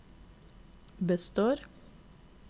består